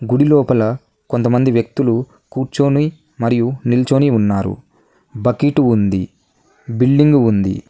గుడి లోపల కొంతమంది వ్యక్తులు కూర్చొని మరియు నిల్చోని ఉన్నారు బకీటు ఉంది బిల్డింగు ఉంది.